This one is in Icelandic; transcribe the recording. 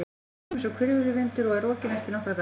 Ég kem einsog hvirfilvindur og er rokinn eftir nokkra daga.